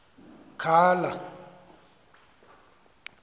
khala